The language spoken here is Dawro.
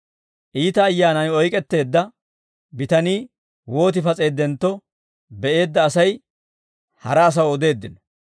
Iita ayyaanan oyk'etteedda bitanii wooti pas'eeddentto be'eedda asay, hara asaw odeeddino.